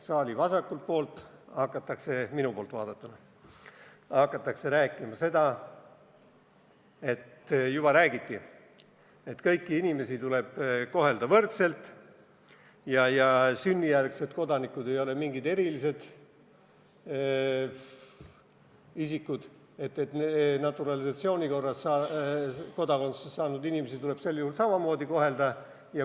Saali vasakul pool – minu poolt vaadatuna – hakatakse rääkima ja juba ka räägiti seda, et kõiki inimesi tuleb kohelda võrdselt ja et sünnijärgsed kodanikud ei ole mingid erilised isikud ja et naturalisatsiooni korras kodakondsuse saanud inimesi tuleb sel juhul samamoodi kohelda.